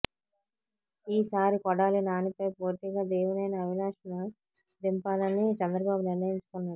ఈ సారి కొడాలి నానిపై పోటీగా దేవినేని అవినాష్ ను దింపాలని చంద్రబాబు నిర్ణయించుకున్నారు